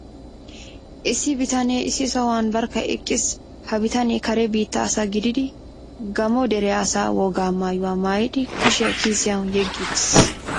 Issi bitanee issi sohuwan barkka eqqiis. Ha bitanee Kare biittaa asa gididi Gaammo dere asaa wogaa maayuwa maayidi kushiya kiisiyan yeggi uttiis.